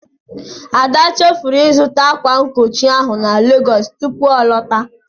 Ada chefuru ịzụta ákwà nkochi ahụ na Legọọsụ tupu ọ lọta.